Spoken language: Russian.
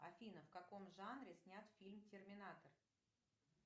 афина в каком жанре снят фильм терминатор